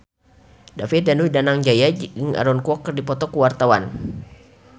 David Danu Danangjaya jeung Aaron Kwok keur dipoto ku wartawan